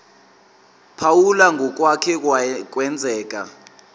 phawula ngokwake kwenzeka